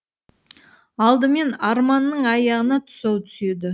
алдымен арманның аяғына тұсау түседі